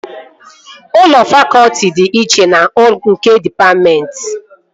Ụlọ fakọtị dị iche na nke dịpatmentị